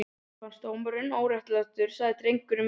Mér finnst dómurinn óréttlátur, sagði drengurinn með varúð.